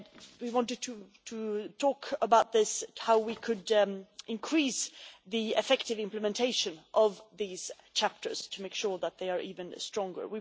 We wanted to talk about this and how we could increase the effective implementation of these chapters to make sure that they are even stronger.